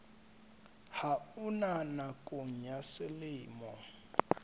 ha ona nakong ya selemo